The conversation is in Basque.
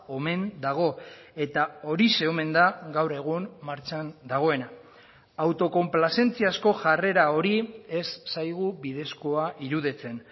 omen dago eta horixe omen da gaur egun martxan dagoena autokonplazentziazko jarrera hori ez zaigu bidezkoa iruditzen